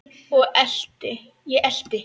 Ég elti.